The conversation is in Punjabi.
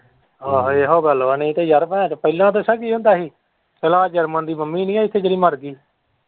ਆਹੋ ਇਹੋ ਗੱਲ ਵਾ ਨਹੀਂ ਤੇ ਯਾਰ ਭੋਣਚੋ ਪਹਿਲਾਂ ਦੱਸਾਂ ਕੀ ਹੁੰਦਾ ਹੀ ਜਰਮਨ ਦੀ ਮੰਮੀ ਨਹੀਂ ਹੈ ਇੱਥੇ ਜਿਹੜੀ ਮਰ ਗਈ।